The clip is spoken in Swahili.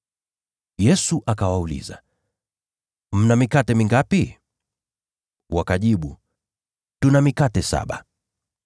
Yesu akawauliza, “Mna mikate mingapi?” Wakajibu, “Tuna mikate saba.”